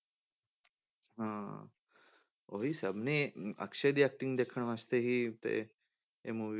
ਹਾਂ, ਉਹੀ ਸਭ ਨੇ ਹੀ ਅਕਸ਼ੇ ਦੀ acting ਦੇਖਣ ਵਾਸਤੇ ਹੀ ਤੇ ਇਹ movie